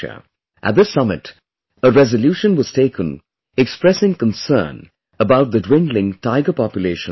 At this summit, a resolution was taken expressing concern about the dwindling tiger population in the world